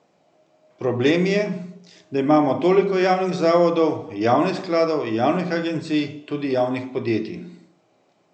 Problem je, da imamo toliko javnih zavodov, javnih skladov, javnih agencij, tudi javnih podjetij ...